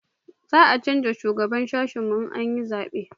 za a canja shugaban sashin mu in an yi zabe